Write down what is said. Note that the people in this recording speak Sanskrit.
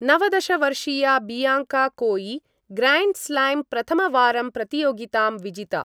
नवदश वर्षीया बियांका कोई ग्रैंड स्लैम प्रथमवारं प्रतियोगितां विजिता।